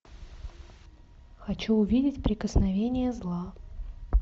хочу увидеть прикосновение зла